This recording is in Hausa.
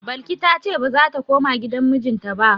Balki ta ce ba za ta koma gidan mijinta ba.